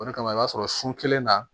O de kama i b'a sɔrɔ sun kelen na